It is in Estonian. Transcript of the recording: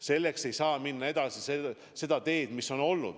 Seepärast me ei saa minna edasi seda teed, mida mööda oleme käinud.